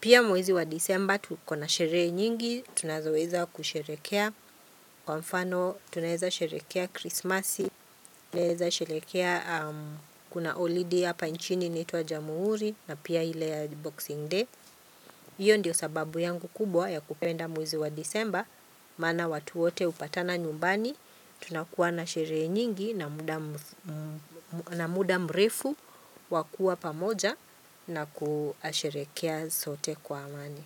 Pia mwezi wa disemba tukona sherehe nyingi. Tunazoweza kusherehekea. Kwa mfano tunaweza sherehekea krismasi. Tunaeza sherehekea kuna holiday ya hapa nchini inaitwa jamuhuri na pia ile ya boxing day. hIyo ndiyo sababu yangu kubwa ya kupenda mwezi wa disemba, maana watu wote hupatana nyumbani, tunakuwa na sherehe nyingi na muda mrefu wakuwa pamoja na kusherehekea sote kwa amani.